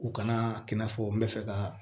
U kana i n'a fɔ n bɛ fɛ ka